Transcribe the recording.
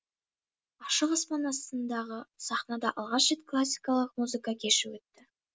ашық аспан астындағы сахнада алғаш рет классикалық музыка кеші өтті